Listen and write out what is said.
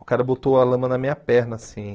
O cara botou a lama na minha perna, assim.